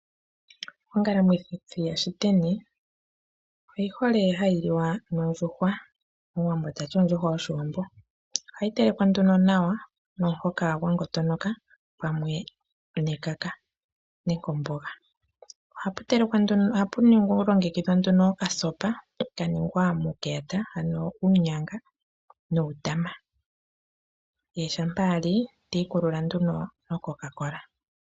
Ongalamwithi yashiteni oyihole hayi liwa nondjuhwa. Omuwambo tati ondjuhwa yoshiwambo. Ohayi telekwa nduno nawa nomuhoka gwangota pamwe nekaka nenge omboga. Ohapu longekidhwa nduno okasopa kaningwa muunyanga nuutama ye shampa ali tiikulula nduno no coke.